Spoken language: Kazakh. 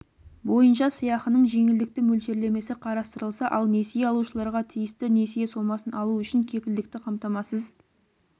бойынша сыйақының жеңілдікті мөлшерлемесі қарастырылса ал несие алушыларға тиісті несие сомасын алу үшін кепілдікті қамтамасыз